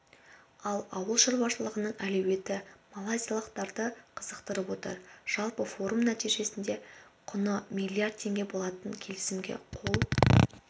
ал ауыл шаруашылығының әлеуеті малайзиялықтарды қызықтырып отыр жалпы форум нәтижесінде құны миллиард теңге болатын келісімге қол